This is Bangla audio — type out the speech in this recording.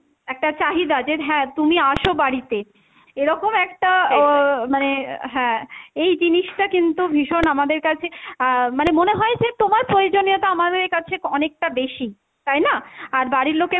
একটা চাহিদা যে হ্যাঁ তুমি আসো বাড়িতে, এরকম একটা আহ মানে হ্যাঁ এই জিনিসটা কিন্তু ভীষণ আমাদের কাছে আহ মানে মনে হয় যে তোমার প্রয়োজনীয়তা আমাদের কাছে অনেকটা বেশি, তাই না? আর বাড়ির লোকের